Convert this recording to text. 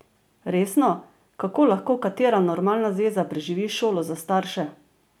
Resno, kako lahko katera normalna zveza preživi šolo za starše?